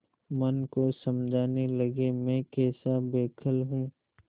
मन को समझाने लगेमैं कैसा बौखल हूँ